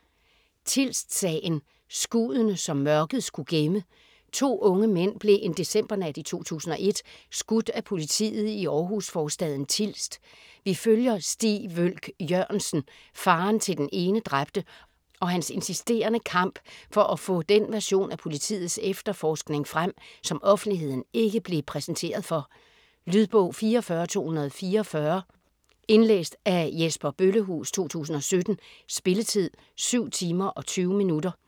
Tilst-sagen: skuddene, som mørket skulle gemme To unge mænd blev en decembernat i 2001 skudt af politiet i Århus-forstaden Tilst. Vi følger Stig Wølch Jørgensen, faderen til den ene dræbte, og hans insisterende kamp for at få den version af politiets efterforskning frem, som offentligheden ikke blev præsenteret for. Lydbog 44244 Indlæst af Jesper Bøllehuus, 2017. Spilletid: 7 timer, 20 minutter.